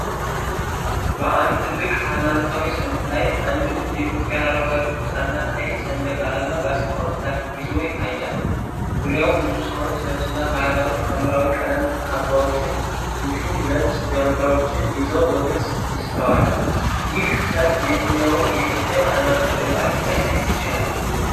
በአንድ ትልቅ ሃይማኖታዊ ሰልፍ ላይ፣ አንድ ልጅ የኢትዮጵያን አረንጓዴ፣ ቢጫና ቀይ ሰንደቅ ዓላማ በአጽንዖት ይዞ ይታያል። ዙሪያው ብዙ ሰዎች ነጭና ባህላዊ የሐምራዊ ቀለም ካባዎችን እንዲሁም ነጭ ጃንጥላዎችን ይዘው በግልጽ ይስተዋላል። ይህ ሰልፍ የትኛውን የኢትዮጵያ ሃይማኖታዊ በዓል ሊያሳይ ይችላል?